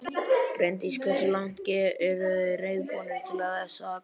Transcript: Bryndís: Hversu langt eruð þið reiðubúnir til þess að ganga?